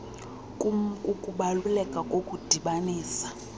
km kukubaluleka kokudibanisa